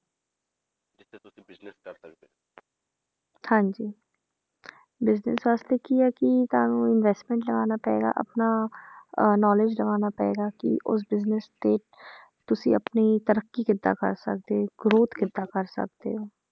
ਹਾਂਜੀ business ਵਾਸਤੇ ਕੀ ਹੈ ਕਿ ਤੁਹਾਨੂੰ investment ਲਗਾਉਣਾ ਪਏਗਾ ਆਪਣਾ ਅਹ knowledge ਲਗਾਉਣਾ ਪਏਗਾ ਕਿ ਉਸ business ਤੇ ਤੁਸੀਂ ਆਪਣੀ ਤਰੱਕੀ ਕਿੱਦਾਂ ਕਰ ਸਕਦੇ growth ਕਿੱਦਾਂ ਕਰ ਸਕਦੇ ਹੋ।